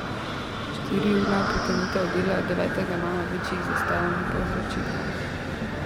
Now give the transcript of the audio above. Štiriurna prekinitev dela devetega maja večjih zastojev ni povzročila.